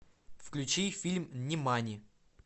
включи фильм нимани